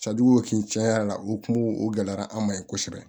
tiɲɛ yɛrɛ la o kungo o gɛlɛyara an ma yen kosɛbɛ